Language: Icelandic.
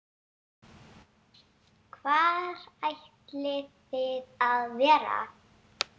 Hvar ætlið þið að vera?